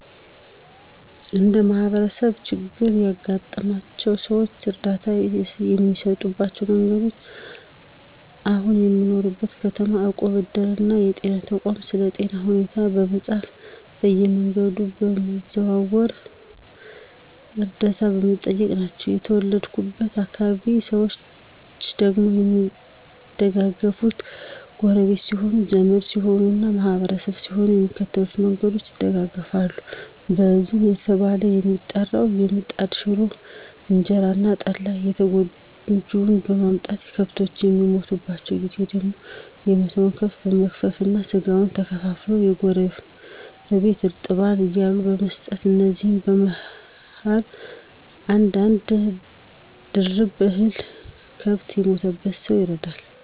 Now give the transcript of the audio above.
እንደ ማህበረሰብ ችግር ያጋጠማቸውን ሰዎች እርዳታ የሚሰጡባቸው መንገዶች አሁን በምኖርበት ከተማ እቁብ፣ እድር እና ከጤና ተቋም ስለ ጤና ሁኔታ በማፃፍ በየመንገዱ በመዘዋወር ዕርደታ በመጠየቅ ናቸው። ከተወለድኩበት አካባቢ ደግሞ ሰዎች የሚደጋገፋት ጎረቢት ሲሆኑ፣ ዘመድ ሲሆኑ እና ማህበርተኛ ሲሆኑ በሚከተሉት መንገዶች ይደጋገፋሉ። የእዝን እየተባለ የሚጠራው የምጣድ ሽሮ፣ እንጀራ እና ጠላ ለተጎጅዎች በማምጣት፤ ከብቶች በሚሞቱባቸው ጊዜ ደግሞ የሞተውን ከብት በመግፈፍ እና ስጋውን ከፋፍሎ ለጎረቢት እርጥባን እያሉ በመስጠት ከዚያም በመኸር አንድ አንድ ድርብ እህል ከብት ለሞተበት ሰው ይረዳል።